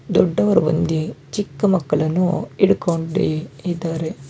ದೊಡ್ಡವರು ಬಂದಿ ಚಿಕ್ಕ ಮಕ್ಕಳನ್ನು ಹಿಡ್ಕೊಂಡಿ ಇದಾರೆ.